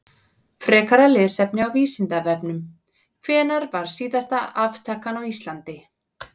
Frekara lesefni á Vísindavefnum: Hvenær var síðasta aftakan á Íslandi?